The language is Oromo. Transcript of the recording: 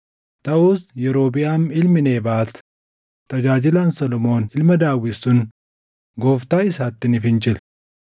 Taʼus Yerobiʼaam ilmi Nebaat tajaajilaan Solomoon ilma Daawit sun gooftaa isaatti ni fincile.